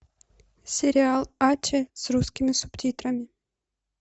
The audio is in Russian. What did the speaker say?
сериал аче с русскими субтитрами